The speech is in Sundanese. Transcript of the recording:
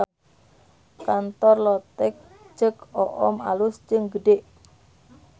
Kantor Lotek Ceu Oom alus jeung gede